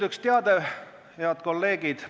Üks teade, head kolleegid.